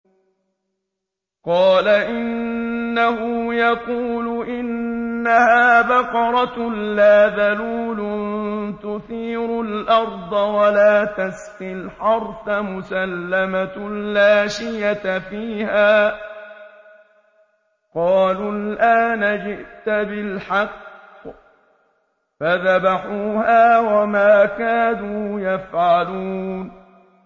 قَالَ إِنَّهُ يَقُولُ إِنَّهَا بَقَرَةٌ لَّا ذَلُولٌ تُثِيرُ الْأَرْضَ وَلَا تَسْقِي الْحَرْثَ مُسَلَّمَةٌ لَّا شِيَةَ فِيهَا ۚ قَالُوا الْآنَ جِئْتَ بِالْحَقِّ ۚ فَذَبَحُوهَا وَمَا كَادُوا يَفْعَلُونَ